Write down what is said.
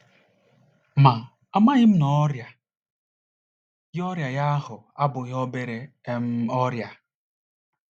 Ma, amaghị m na ọrịa ya ọrịa ya ahụ abụghị obere um ọrịa.